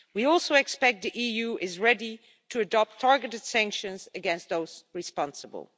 We also expect the EU to be ready to adopt targeted sanctions against those responsible.